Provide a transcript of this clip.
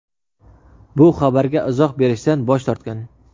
bu xabarga izoh berishdan bosh tortgan.